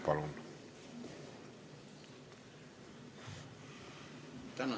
Palun!